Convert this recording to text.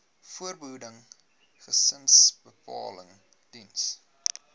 voorbehoeding gesinsbeplanning diens